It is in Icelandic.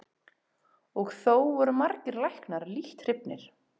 Og þó voru margir læknar lítt hrifnir.